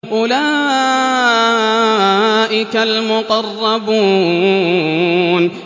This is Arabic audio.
أُولَٰئِكَ الْمُقَرَّبُونَ